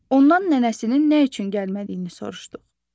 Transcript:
Ondan nənəsinin nə üçün gəlmədiyini soruşduq.